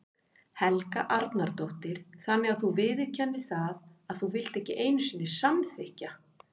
Helga Arnardóttir: Þannig að þú viðurkennir það að þú vilt ekki einu sinni samþykkja?